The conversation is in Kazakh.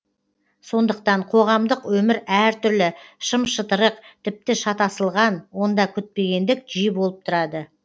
сондықтан қоғамдық өмір әртүрлі шым шытырық тіпті шатасылған онда күтпегендік жиі болып тұрады